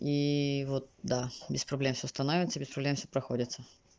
и вот да без проблем всё становится без проблем всё проходится